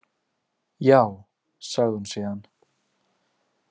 Já, sagði hún síðan.